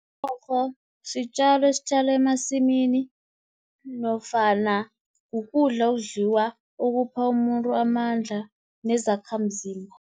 Umrorho sitjalo esitjalwa emasimini, nofana kukudla okudliwa, okupha umuntu amandla nezakhamzimba.